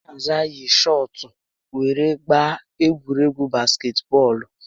Chinaza yi shọọtụ were gaba egwuregwu basketbọọlụ